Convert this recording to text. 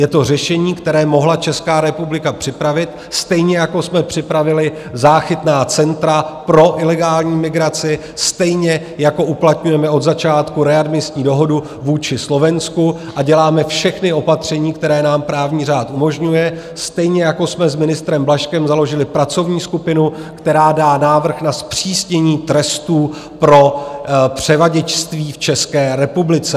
Je to řešení, které mohla Česká republika připravit, stejně jako jsme připravili záchytná centra pro ilegální migraci, stejně jako uplatňujeme od začátku readmisní dohodu vůči Slovensku a děláme všechna opatření, které nám právní řád umožňuje, stejně jako jsme s ministrem Blažkem založili pracovní skupinu, která dá návrh na zpřísnění trestů pro převaděčství v České republice.